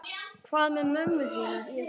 Hvað með mömmu þína?